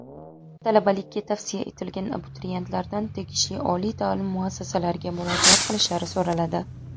Talabalikka tavsiya etilgan abituriyentlardan tegishli oliy ta’lim muassasalariga murojaat qilishlari so‘raladi.